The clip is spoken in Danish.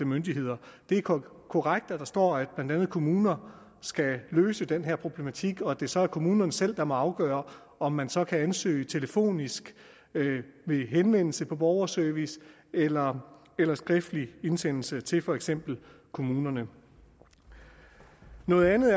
myndigheder det er korrekt at der står at blandt andet kommuner skal løse den her problematik og at det så er kommunerne selv der må afgøre om man så kan ansøge telefonisk ved henvendelse på borgerservice eller eller skriftlig indsendelse til for eksempel kommunerne noget andet